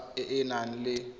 sap e e nang le